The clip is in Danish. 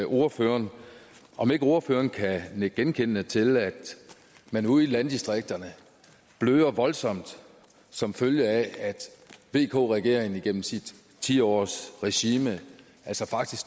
ordføreren om ikke ordføreren kan nikke genkendende til at man ude i landdistrikterne bløder voldsomt som følge af at vk regeringen igennem sit ti årsregime altså faktisk